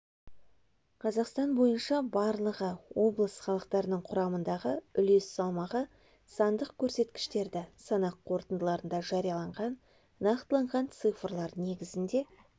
қазақстан бойынша барлығы облыс халықтарының құрамындағы үлес салмағы сандық көрсеткіштерді санақ қорытындыларында жарияланған нақтыланған цифрлар негізінде